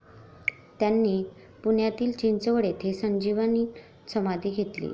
त्यांनी पुण्यातील चिंचवड येथे संजीवन समाधी घेतली.